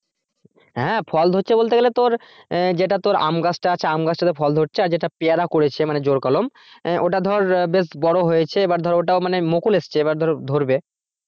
হ্যাঁ ফল ধরছে বলতে গেলে তোর আহ যেটা তোর আম গাছ টা আছে আমগাছটাতে ফল ধরছে আর যেটা পেয়ারা করেছে মানে জোড় কলম আহ ওটা ধর বেশ বড় হয়েছে এবার ধর ওটাও মানে মুকুল এসেছে এবার ধর ধরবে।